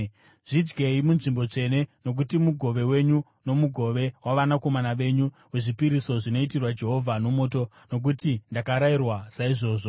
Zvidyei munzvimbo tsvene, nokuti mugove wenyu nomugove wavanakomana venyu, wezvipiriso zvinoitirwa Jehovha nomoto, nokuti ndakarayirwa saizvozvo.